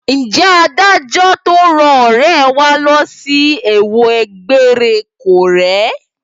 Ǹjẹ́ adájọ́ tó rán ọ̀rẹ́ẹ wa lọ sí ẹ̀wọ̀n egbére kọ́ rèé?